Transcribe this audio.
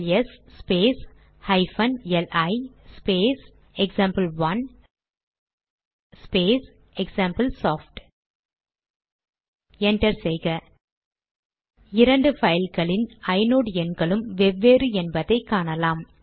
LS space hyphen li space example one space example soft enter செய்க இரண்டு பைல்களின் inode எண்களும் வெவ்வேறு என்பதை காணலாம்